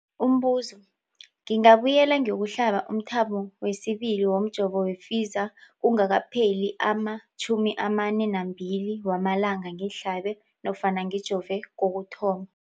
Umbuzo, ngingabuyela ngiyokuhlaba umthamo wesibili womjovo we-Pfizer kungakapheli ama-42 wamalanga ngihlabe nofana ngijove kokuthoma.